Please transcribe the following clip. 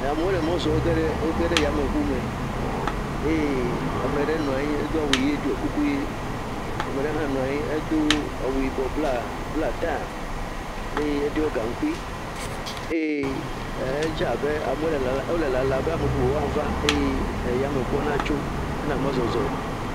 Amewo le mɔ zɔ. Wo ge ɖe, wo ge ɖe yameŋume eye ame ɖe nɔ anyi edo awu ʋe, ɖiɔkuku ʋe. Ame ɖe hã nɔ anyi, edo awu yibɔ blaa, blaa taya eye eɖiɔ gaŋkui eye edze abe amewo le lala wole lala be ame bubuwo woava eye eyameŋuɔ natso hena mɔzɔzɔ.